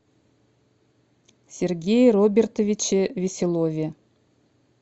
сергее робертовиче веселове